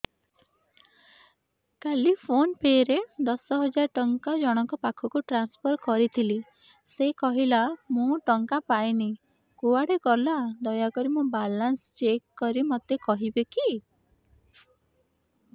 କାଲି PhonePe ରେ ଦଶ ହଜାର ଟଙ୍କା ଜଣକ ପାଖକୁ ଟ୍ରାନ୍ସଫର୍ କରିଥିଲି ସେ କହିଲା ମୁଁ ଟଙ୍କା ପାଇନି କୁଆଡେ ଗଲା ଦୟାକରି ମୋର ବାଲାନ୍ସ ଚେକ୍ କରି ମୋତେ କହିବେ କି